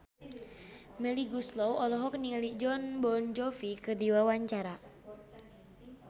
Melly Goeslaw olohok ningali Jon Bon Jovi keur diwawancara